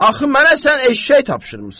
Axı mənə sən eşşək tapşırmısan?